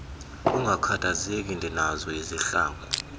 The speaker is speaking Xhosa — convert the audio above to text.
ungakhathazeki ndinazo izihlangu